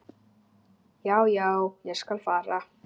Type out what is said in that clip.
Já, já, ég skal fara.